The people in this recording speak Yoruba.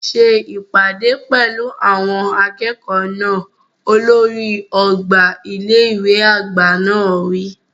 Ṣe ìpàdé pẹ̀lú àwọn akẹ́kọ̀ọ́ náà! Olórí ọgbà ilé ìwé àgbà náà wí.